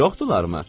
Çoxdularmı?